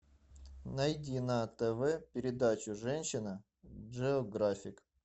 найди на тв передачу женщина джеографик